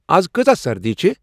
از کۭژاہ سردی چِھ ؟